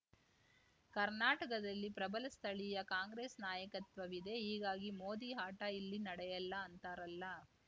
ಕರ್ನಾಟಕದಲ್ಲಿ ಪ್ರಬಲ ಸ್ಥಳೀಯ ಕಾಂಗ್ರೆಸ್‌ ನಾಯಕತ್ವ ವಿದೆ ಹೀಗಾಗಿ ಮೋದಿ ಆಟ ಇಲ್ಲಿ ನಡೆಯಲ್ಲ ಅಂತಾರಲ್ಲ